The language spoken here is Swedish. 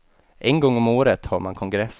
En gång om året har man kongress.